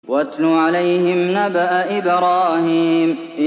وَاتْلُ عَلَيْهِمْ نَبَأَ إِبْرَاهِيمَ